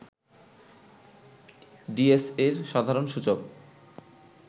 ডিএসইর সাধারণ সূচক